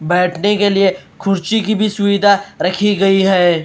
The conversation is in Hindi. बैठने के लिए कुर्सी की भी सुविधा रखी गई है।